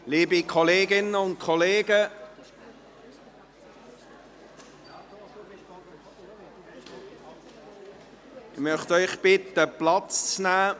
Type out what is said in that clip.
Liebe Kolleginnen und Kollegen, ich möchte Sie bitten, Platz zu nehmen.